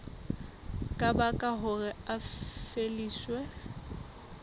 ka baka hore a lefiswe